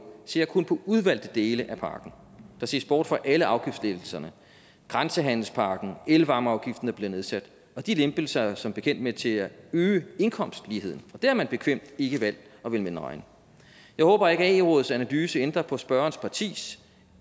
ser kun på udvalgte dele af pakken der ses bort fra alle afgiftslettelserne grænsehandelspakken og elvarmeafgiften der bliver nedsat og de lempelser er som bekendt med til at øge indkomstligheden og det har man bekvemt ikke valgt at ville medregne jeg håber ikke at ae rådets analyse ændrer på spørgerens partis